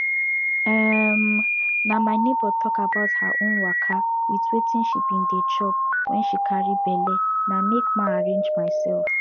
emm na my neighbor talk about her own waka wit wetin she be dey chop wen she be carry belle na make ma arrange myself